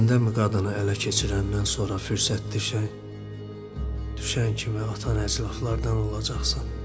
Səndənmı qadını ələ keçirəndən sonra fürsətdə düşən kimi atan əclahlardan olacaqsan?